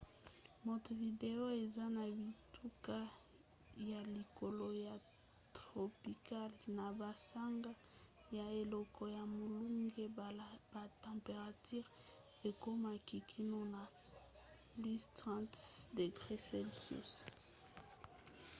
montevideo eza na bituka ya likolo ya tropicale; na basanza ya eleko ya molunge mbala ba temperature ekomaki kino na +30°c